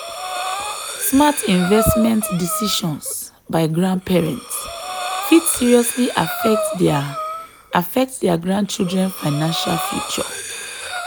smart investment decisions by grandparents fit seriously affect dia affect dia grandchildren financial future.